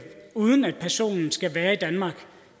uden at personen skal være i danmark